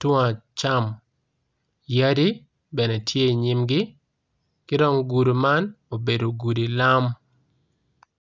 tung acam yadi tye i nyimgi gudi man obedo gudi lam